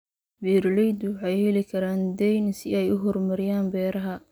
Beeraleydu waxay heli karaan deyn si ay u horumariyaan beeraha.